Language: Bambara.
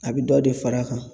A bI dɔ de far'a kan.